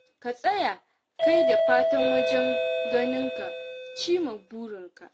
Ka tsaya kai da fata wajen ganin ka cin ma burinka.